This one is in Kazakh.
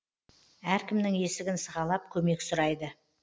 әркімнің есігін сығалап көмек сұрайды